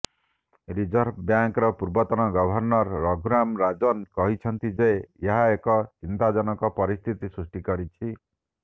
reserve ବ୍ୟାଙ୍କର ପୂର୍ବତନ governor Raghuram Rajan କହିଛନ୍ତି ଯେ ଏହା ଏକ ଚିନ୍ତାଜନକ ପରିସ୍ଥିତି ସୃଷ୍ଟି କରିଛି